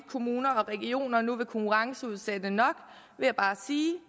kommuner og regioner nu vil konkurrenceudsætte nok vil jeg bare sige